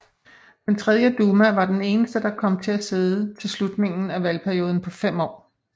Den tredje duma var den eneste der kom til at sidde til slutningen af valgperioden på fem år